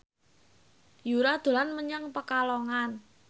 Yura dolan menyang Pekalongan